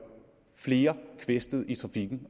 flere kvæstede i trafikken